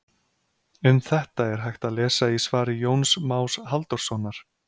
Um þetta er hægt að lesa í svari Jóns Más Halldórssonar.